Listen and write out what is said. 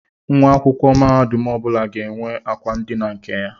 Nwa akwụkwọ mahadum ọbụla ga-enwe akwa ndina nke ya.